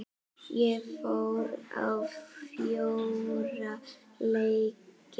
Ég fór á fjóra leiki.